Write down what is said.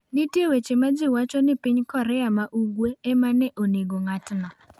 Nitie weche ma ji wacho ni piny Korea ma Ugwe ema ne onego ng’atno.